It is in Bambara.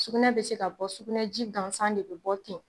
Sugunɛ bɛ se ka bɔ, sugunɛ ji gansan de bɛ bɔ ten.